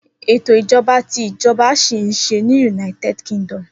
Eto ijọba ti ijọba jẹ ṣi nṣe ni United Kingdom.